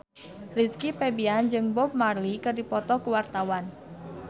Rizky Febian jeung Bob Marley keur dipoto ku wartawan